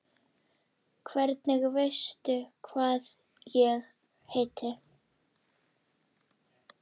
Hvernig veistu hvað ég heiti?